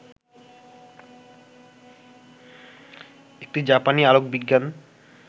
একটি জাপানি আলোকবিজ্ঞান